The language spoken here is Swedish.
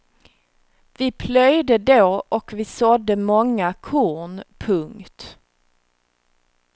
Vi plöjde då och vi sådde många korn. punkt